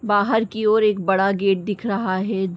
बाहर की ओर एक बड़ा गेट दिख रहा है।